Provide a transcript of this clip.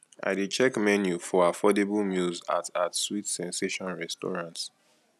i dey check menu for affordable meals at at sweet sensation restaurant